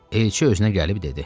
Elçi özünə gəlib dedi: